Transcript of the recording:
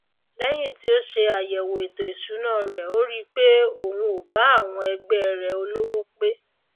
léyìn tí ó se àyèwò ètò ìsúná rè ó ri pé òun ò bá àwọn ẹgbé rè olówó pé